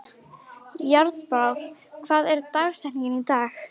Járnbrá, hver er dagsetningin í dag?